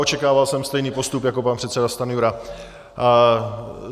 Očekával jsem stejný postup jako pan předseda Stanjura.